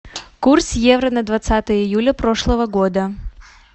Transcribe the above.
курс евро на двадцатое июля прошлого года